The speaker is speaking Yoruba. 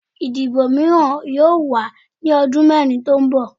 Idibo miiran yoo wa ni ọdun mẹrin to nbọ